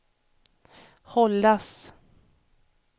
hållas